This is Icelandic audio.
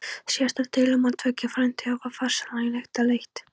Síðasta deilumál tveggja frændþjóða var farsællega til lykta leitt.